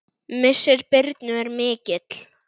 Missir Birnu er mikill.